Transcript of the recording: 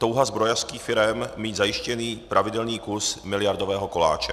Touha zbrojařských firem mít zajištěný pravidelný kus miliardového koláče.